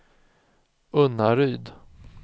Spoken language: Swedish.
Unnaryd